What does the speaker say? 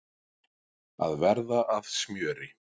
Að verða að smjöri